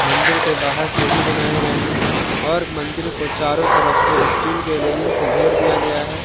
मंदिर के बाहर सीढ़ी बनाए गए हैं और मंदिर को चारों तरफ से स्टील के रेलिंग से घेर दिया गया है।